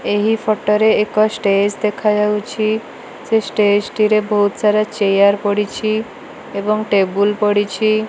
ଏହି ଫୋଟୋ ରେ ଏକ ଷ୍ଟେଜ ଦେଖା ଯାଉଚି ସେ ଷ୍ଟେଜ ଟି ରେ ବହୁତ ସାରା ଚେୟାର ପଡ଼ିଛି ଏବଂ ଟେବୁଲ ପଡ଼ିଛି।